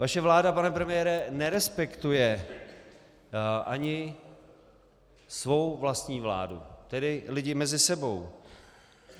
Vaše vláda, pane premiére, nerespektuje ani svou vlastní vládu, tedy lidi mezi sebou.